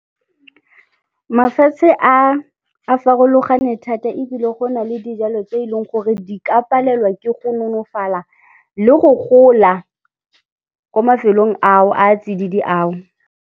Mafatshe a, a farologane thata ebile go na le dijalo tse eleng gore di ka palelwa ke go nonofala le go gola ko mafelong ao, a tsididi ao.